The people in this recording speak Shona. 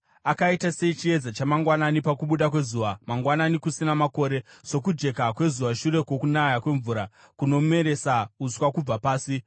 akaita sechiedza chamangwanani pakubuda kwezuva mangwanani kusina makore, sokujeka kwezuva shure kwokunaya kwemvura kunomeresa uswa kubva pasi.’